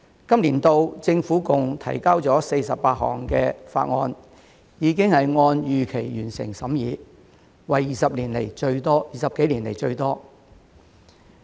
本年度政府共提交了48項法案，已經按預期完成審議，為20多年來最多。